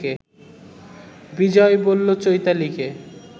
বিজয় বলল চৈতালিকে